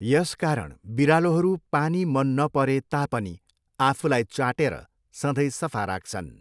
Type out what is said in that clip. यसकारण बिरालोहरू पानी मन नपरे तापनि, आफूलाई चाटेर सधैँ सफा राख्छन्।